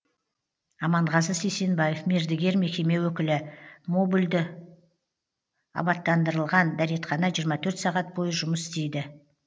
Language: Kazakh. аманғазы сейсенбаев мердігер мекеме өкілі модульді абаттандырылған дәретхана жиырма төрт сағат бойы жұмыс істейді